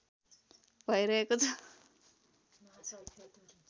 भइरहेको छ